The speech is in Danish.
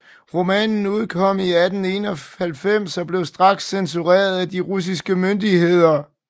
Romanen udkom i 1891 og blev straks censureret af de russiske myndigheder